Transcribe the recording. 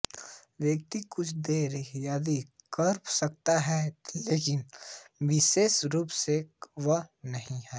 व्यक्ति कुछ देखकर याद कर सकता है लेकिन विशेष रूप से वह नहीं है